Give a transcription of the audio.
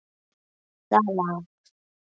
Það lak.